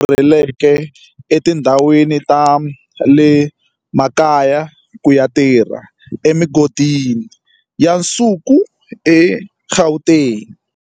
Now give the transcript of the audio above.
Rhurhelaka ematikweni mambe lava rhurheleke etindhawini ta le makaya ku ya tirha emigodini ya nsuku eGauteng.